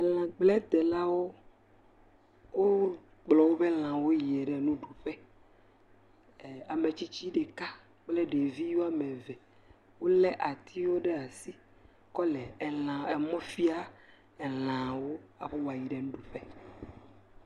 Elãgbledelawo wokplɔ woƒe lãwo yina nuɖuƒe, ametsitsi ɖeka kple ɖevi woame eve, wolé atiwo ɖe asi kɔ le mɔ fiam woƒe lãwo aƒe woayi ɖe nuɖuƒe.